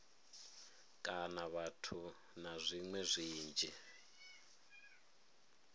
kana vhathu na zwiṅwe zwinzhi